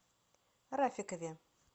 рафикове